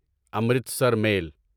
Amritsar میل